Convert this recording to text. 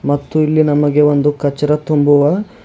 ಮತ್ತು ಇಲ್ಲಿ ನಮಗೆ ಒಂದು ಕಚ್ಚರ ತುಂಬುವ--